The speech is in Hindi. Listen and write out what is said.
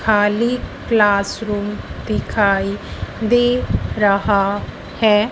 खाली क्लास रूम दिखाई दे रहा हैं।